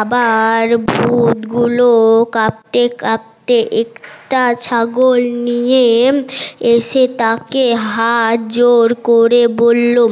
আবার ভুতগুলো কাপতে কাপতে একটা ছাগল নিয়ে এসে তা কে হাত জোর করে বললো